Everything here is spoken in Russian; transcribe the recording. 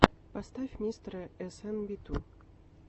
поставь мистера мистера эс эн би ту